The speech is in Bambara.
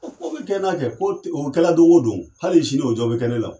O ko be kɛ n'a kɛ ko o kɛla don go don . Hali sini o dɔ be kɛ ne la.